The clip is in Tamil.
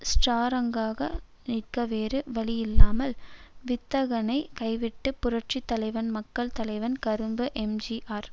ஸ்ட்ராங்காக நிற்க வேறு வழியில்லாமல் வித்தகனை கைவிட்டு புரட்சி தலைவன் மக்கள் தலைவன் கறும்பு எம் ஜி ஆர்